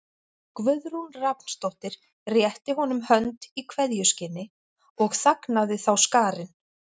Guðrún Rafnsdóttir rétti honum hönd í kveðjuskyni og þagnaði þá skarinn.